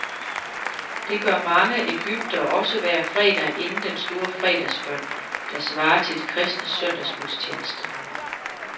Det gør mange egyptere også hver fredag inden den store fredagsbøn, der svarer til de kristnes søndagsgudstjeneste.